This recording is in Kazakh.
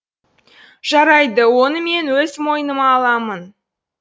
жарайды оны мен өз мойныма аламын